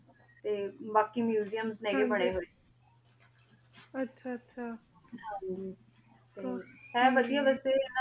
ਤੇ ਬਾਕ਼ੀ ਮੁਸੇਯਮ ਨਹੀ ਬਣੇ ਹੋਉਯ ਆਚਾ ਆਚਾ ਆਯ ਵਾਦਿ ਬਾਸ ਆਯ